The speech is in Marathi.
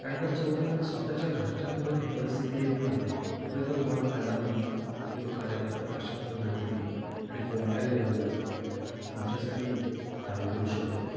कारण का जोपर्यंत स्वतः च्या घरच्यांन वर ही परिस्थिती येत नाही ना तो पर्यंत तुम्हाला कळणार नाही की तो कार्यकर्ता कश्या पद्धतीने आणि कोणत्या लेव्हलला तुमच्यासाठी काय करू शकतो ते.